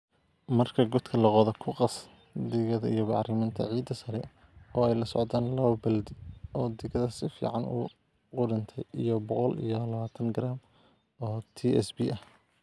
"Marka godka la qodo, ku qas digada iyo bacriminta ciidda sare, oo ay la socdaan 2 baaldi oo digada si fiican u qudhuntay iyo boqol iyo labatan garam oo TSP ah."